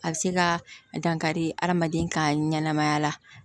A bɛ se ka dankari adamaden ka ɲɛnamaya la